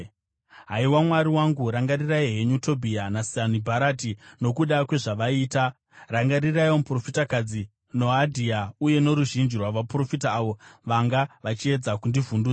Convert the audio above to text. Haiwa Mwari wangu, rangarirai henyu Tobhia naSanibharati, nokuda kwezvavaita; rangariraiwo muprofitakadzi Noadhia uye noruzhinji rwavaprofita avo vanga vachiedza kundivhundutsira.